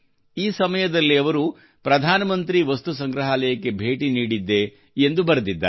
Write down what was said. ಈ ಸಮಯದಲ್ಲಿ ಅವರು ಪ್ರಧಾನಮಂತ್ರಿ ವಸ್ತು ಸಂಗ್ರಹಾಲಯಕ್ಕೆ ಭೇಟಿ ನೀಡಿದ್ದೆ ಎಂದು ಅವರು ಬರೆದಿದ್ದಾರೆ